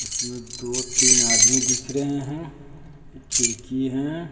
इसमें दो तीन आदमी दिख रहे हैं खिड़की हैं।